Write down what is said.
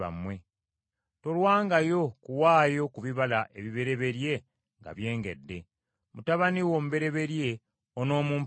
“Tolwangawo kuwaayo ku bibala ebibereberye nga byengedde. “Mutabani wo omubereberye onoomumpanga.